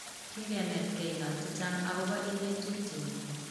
kikenetkei ngalek chichang akopa inye tupche nyu